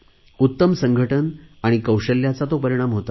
उत्तम संघटन आणि कौशल्याचा तो परिणाम होता